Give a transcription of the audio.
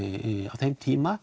á þeim tíma